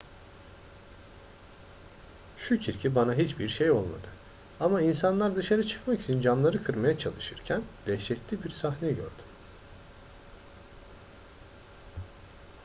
şükür ki bana hiçbir şey olmadı ama insanlar dışarı çıkmak için camları kırmaya çalışırken dehşetli bir sahne gördüm